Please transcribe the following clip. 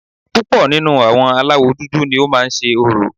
Púpọ̀ nínú àwọn aláwọ̀ dúdú ni ó má ń se orò